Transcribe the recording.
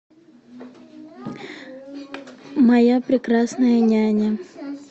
моя прекрасная няня